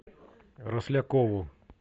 рослякову